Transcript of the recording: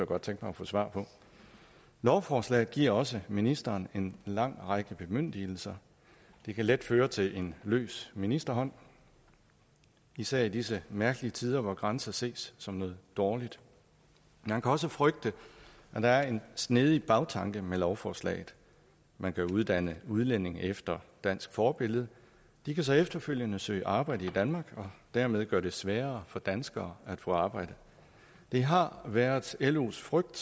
godt tænke mig at få svar på lovforslaget giver også ministeren en lang række bemyndigelser det kan let føre til en løs ministerhånd især i disse mærkelige tider hvor grænser ses som noget dårligt man kan også frygte at der er en snedig bagtanke med lovforslaget man kan uddanne udlændinge efter dansk forbillede de kan så efterfølgende søge arbejde i danmark og dermed gøre det sværere for danskere at få arbejde det har været los frygt